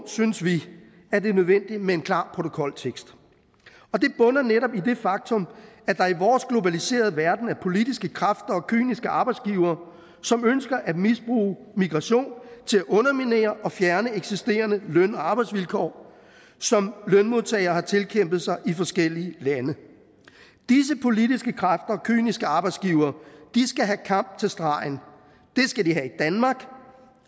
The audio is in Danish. synes vi at det er nødvendigt med en klar protokoltekst det bunder netop i det faktum at der i vores globaliserede verden er politiske kræfter og kyniske arbejdsgivere som ønsker at misbruge migration til at underminere og fjerne eksisterende løn og arbejdsvilkår som lønmodtagere har tilkæmpet sig i forskellige lande disse politiske kræfter kyniske arbejdsgivere skal have kamp til stregen det skal de have i danmark